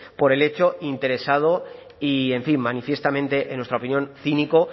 por el hecho interesado y en fin manifiestamente en nuestra opinión cínico